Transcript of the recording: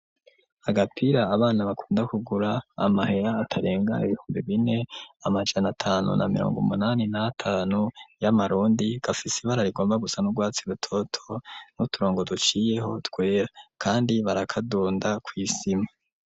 Agapira abana bakunda kugura amahera atarenga ibihumbe bine amajana tanu na mirongo munani natanu y'amarundi gafise ibara rigomba gusa n'urwatsi rutoto n'uturongo duciyeho twera kandi barakadunda kw'isima.